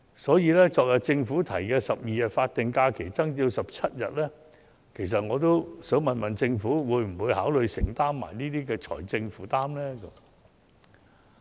所以，對於政府昨天提出將12天法定假日增至17天，我亦想詢問政府會否考慮一併承擔有關的財政負擔呢？